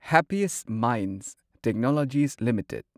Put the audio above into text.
happiest minds technologies limited